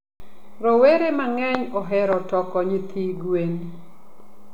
rowere mangeny ohero toko nyithi gwen